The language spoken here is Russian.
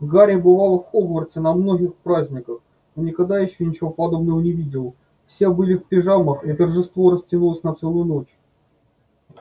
гарри бывал в хогвартсе на многих праздниках но никогда ещё ничего подобного не видел все были в пижамах и торжество растянулось на целую ночь